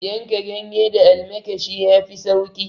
Yanka ganye da almakshi yafi sauki